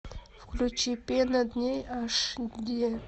включи пена дней аш ди